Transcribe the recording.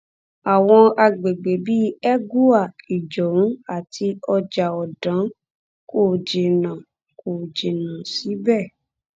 àwọn àgbègbè bíi ẹgùa ìjọun àti ọjà ọdàn kò jìnnà kò jìnnà síbẹ